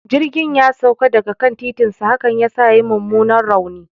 Jirgin ya sauka daga kan titinsa, hakan yasa yayi mummunan rauni